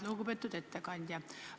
Lugupeetud ettekandja!